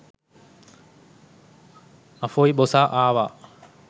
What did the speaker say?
අෆොයි බොසා ආවා